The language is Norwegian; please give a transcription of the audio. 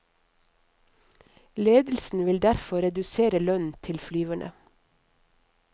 Ledelsen vil derfor redusere lønnen til flyverne.